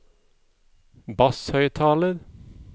basshøyttaler